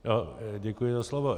Já děkuji za slovo.